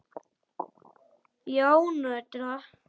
Já, nörda.